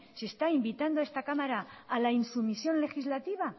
si está invitando a esta cámara a la insumisión legislativa